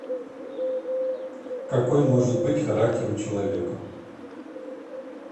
какой может быть характер у человека